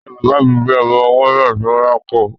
Ìya bàbà mi gbé ọmọ ọwọ́ náà tó ń rákò.